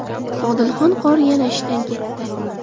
Odilxon qori yana ishdan ketdi .